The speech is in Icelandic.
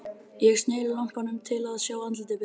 Ég sneri lampanum til að sjá andlitið betur.